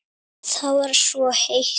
Það var svo heitt.